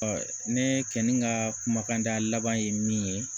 ne kɛlen ka kumakanda laban ye min ye